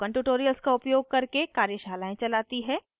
spoken tutorials का उपयोग करके कार्यशालाएं चलाती है